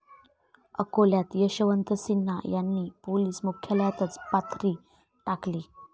अकोल्यात यशवंत सिन्हा यांनी पोलीस मुख्यालयातच पथारी टाकली!